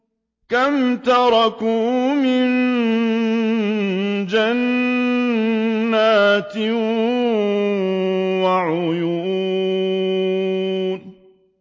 كَمْ تَرَكُوا مِن جَنَّاتٍ وَعُيُونٍ